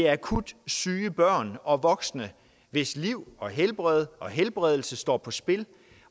akut syge børn og voksne hvis liv og helbred og helbredelse står på spil